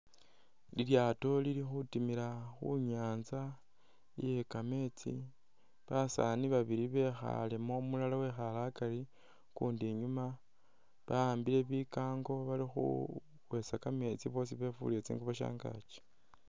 Lilyaato Lili khutimila khu'nyanza iye kameetsi basaani babili bekhalemo, umulala wekhale akari ukundi inyuma ba'ambile bikango bali khukhwesa kameetsi boosi befulile tsingubo shangaki